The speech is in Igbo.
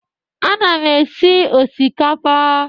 Ana m esi osikapa.